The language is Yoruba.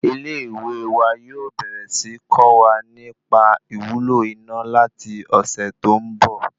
Ilé ìwé wa yóò bẹ̀rẹ̀ síí kọ́ wa nì pa ìwúlò iná láti ọ̀sẹ̀ tó ń bọ̀